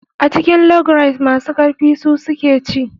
A cikin log race masu karfi su suke ci.